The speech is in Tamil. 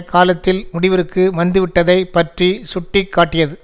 காலத்தில் முடிவிற்கு வந்துவிட்டதை பற்றி சுட்டி காட்டியது